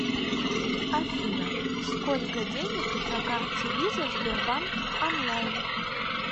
афина сколько денег на карте виза сбербанк онлайн